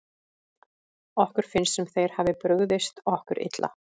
Okkur finnst sem þeir hafi brugðist okkur illa.